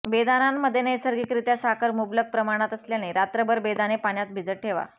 बेदाणांमध्ये नैसर्गिकरित्या साखर मुबलक प्रमाणात असल्याने रात्रभर बेदाणे पाण्यात भिजत ठेवा